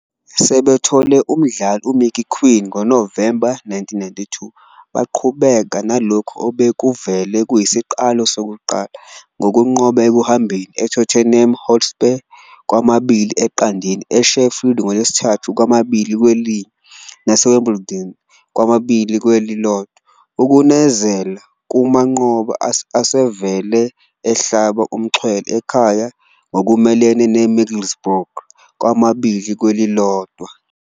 Sebethole umgadli uMicky Quinn ngoNovemba 1992 baqhubeka nalokho obekuvele kuyisiqalo sokuqala, ngokunqoba ekuhambeni eTottenham Hotspur, 2-0, eSheffield ngoLwesithathu, 2-1, naseWimbledon, 2-1, ukunezela kumanqoba asevele ehlaba umxhwele ekhaya ngokumelene neMiddlesbrough, 2-1.